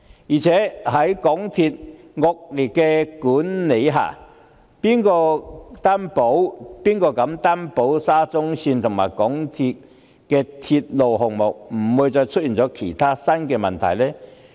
再者，在港鐵公司的惡劣管理下，誰能擔保沙中線及港鐵公司的鐵路項目不會再出現其他新問題？